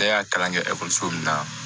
Ne y'a kalan kɛ ekɔliso min na